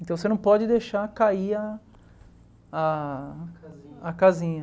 Então você não pode deixar cair a a a casinha.